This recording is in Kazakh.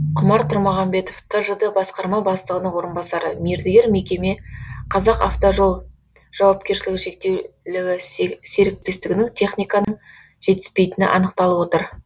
құмар тұрмағамбетов тжд басқарма бастығының орынбасары мердігер мекеме қазақавтожол жауапкершілігі шектеулі серіктестігінің техниканың жетіспейтіні анықталып отыр